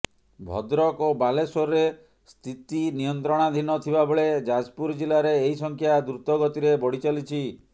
ଭଦ୍ରକ ଓ ବାଲେଶ୍ବରରେ ସ୍ଥିତି ନିୟନ୍ତ୍ରଣାଧୀନ ଥିବାବେଳେ ଯାଜପୁର ଜିଲାରେ ଏହି ସଂଖ୍ୟା ଦ୍ରୁତ ଗତିରେ ବଢ଼ିଚାଲିଛି